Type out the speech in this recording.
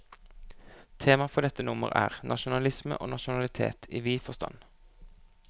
Temaet for dette nummer er, nasjonalisme og nasjonalitet i vid forstand.